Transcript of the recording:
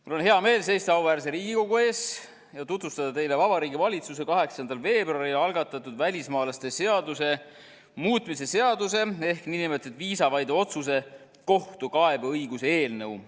Mul on hea meel seista auväärse Riigikogu ees ja tutvustada teile Vabariigi Valitsuse 8. veebruaril algatatud välismaalaste seaduse muutmise seaduse ehk nn viisavaide otsuse kohtukaebeõiguse eelnõu.